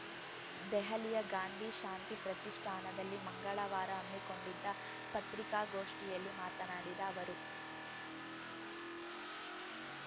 ದೆಹಲಿಯ ಗಾಂಧಿ ಶಾಂತಿ ಪ್ರತಿಷ್ಠಾನದಲ್ಲಿ ಮಂಗಳವಾರ ಹಮ್ಮಿಕೊಂಡಿದ್ದ ಪತ್ರಿಕಾಗೋಷ್ಠಿಯಲ್ಲಿ ಮಾತನಾಡಿದ ಅವರು